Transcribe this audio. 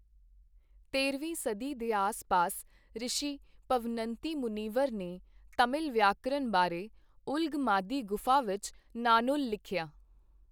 ਤੇਰਵੀਂ ਸਦੀ ਦੇ ਆਸ ਪਾਸ ਰਿਸ਼ੀ ਪਵਨੰਤੀ ਮੁਨੀਵਰ ਨੇ ਤਾਮਿਲ ਵਿਆਕਰਨ ਬਾਰੇ ਉਲਗ-ਮਾਧੀ ਗੁਫ਼ਾ ਵਿੱਚ ਨਾਨੂਲ ਲਿਖਿਆ।